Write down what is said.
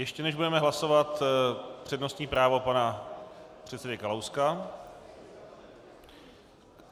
Ještě než budeme hlasovat, přednostní právo pana předsedy Kalouska.